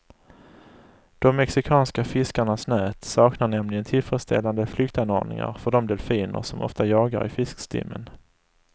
De mexikanska fiskarnas nät saknar nämligen tillfredsställande flyktanordningar för de delfiner som ofta jagar i fiskstimmen.